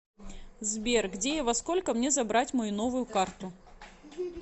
сбер где и во сколько мне забрать мою новую карту